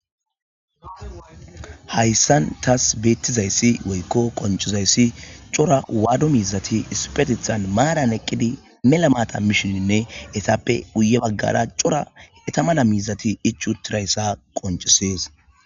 Haysan taas beetizayssi woyko qoncizayssi daro wado miizati issipetethan maaran eqqidi mela maata mishininne eetappe guye baggara daro eeta mala miizati ichchi uttidaysa qoncisees.